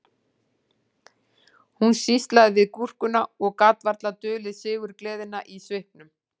Hún sýslaði við gúrkuna og gat varla dulið sigurgleðina í svipnum